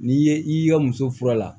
N'i ye i y'i ka muso fura la